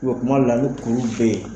kuma dɔ la ni kulu bɛ yen.